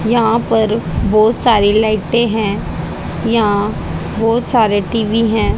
यहां पर बहुत सारी लाइटें हैं यहां बहुत सारे टी_वी हैं।